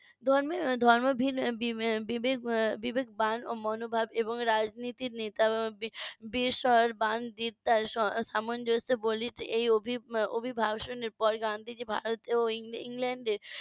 ধর্ম বিবেকবান মনোভাব এবং রাজনীতির নেতা এই অবিভাব শুনে পরে গান্ধীজি ভারতে এবং ইংল্যান্ডে